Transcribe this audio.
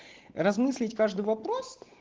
размыслить каждый вопрос